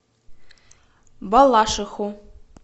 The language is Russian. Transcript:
балашиху